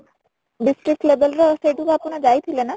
district level ର ସେଇଠିକୁ ଆପଣ ଯାଇ ଥିଲେ ନା?